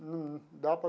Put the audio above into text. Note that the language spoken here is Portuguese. Num dá para.